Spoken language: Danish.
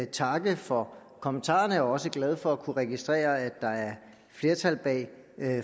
takke for kommentarerne og også glad for at kunne registrere at der er flertal bag